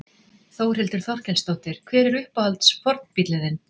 Þórhildur Þorkelsdóttir: Hver er uppáhalds fornbíllinn þinn?